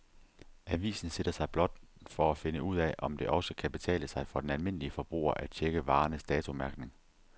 Avisen sætter sig blot for at finde ud af, om det også kan betale sig for den almindelige forbruger at checke varernes datomærkning.